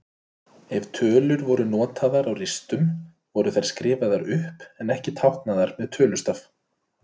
Ef tölur voru notaðar á ristum voru þær skrifaðar upp en ekki táknaðar með tölustaf.